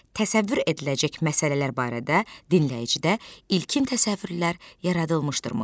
Təsəvvür ediləcək məsələlər barədə dinləyicidə ilkin təsəvvürlər yaradılırmı?